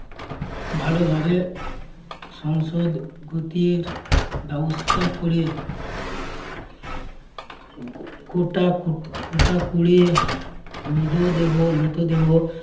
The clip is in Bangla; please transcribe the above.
ভালোভাবে সংসদ গতির ব্যবস্থা করে ঘটা~ ঘটা করে মৃধদেহ~ মৃতদেহ